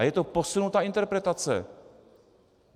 A je to posunutá interpretace.